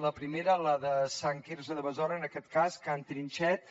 la primera la de sant quirze de besora en aquest cas can trinxet